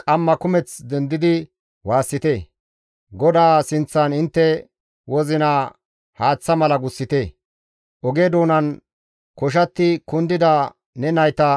Qammaa kumeth dendidi waassite; Godaa sinththan intte wozina haaththa mala gussite; oge doonan koshatti kundida ne nayta